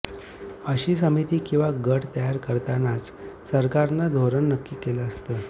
अशी समिती किंवा गट तयार करतानाच सरकारनं धोरण नक्की केलेलं असतं